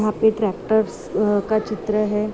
वहाँ पे ट्रैक्टर आ का चित्र है। .